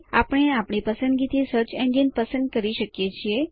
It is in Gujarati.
આપણે આપણી પસંદગી થી સર્ચ એન્જિન પસંદ કરી શકીએ છીએ